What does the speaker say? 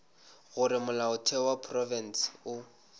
gore molaotheo wa profense o